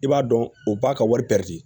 I b'a dɔn u b'a ka wari di